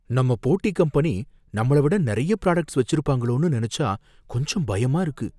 நம்ம போட்டி கம்பெனி நம்மள விட நறைய பிராடக்ட்ஸ் வச்சிருப்பாங்களோனு நினைச்சா கொஞ்சம் பயமா இருக்கு.